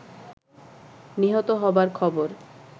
নিহত হবার খবর